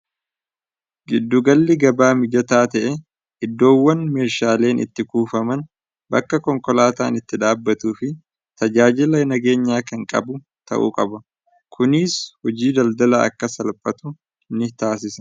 Giddu galli gabaa mijataa ta'e iddoowwan meeshaaleen itti kuufaman, bakka konkolaataan itti dhaabatuu fi tajaajila nageenyaa kan qabu ta'u qaba. Kuniis hojiin daldala akka salphatu ni taasisa.